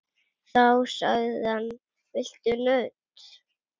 Þá sagði hann: Viltu nudd?